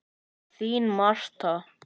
Þín Marta.